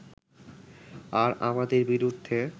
আর আমাদের বিরুদ্ধে